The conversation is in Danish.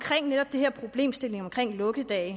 lukkedage